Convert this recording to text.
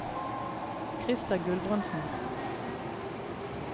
Krister Gulbrandsen